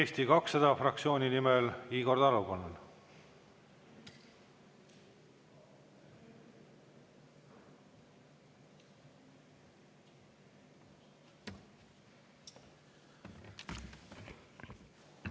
Eesti 200 fraktsiooni nimel Igor Taro, palun!